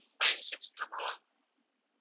nine six triple one